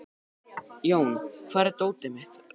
Jón, hvar er dótið mitt?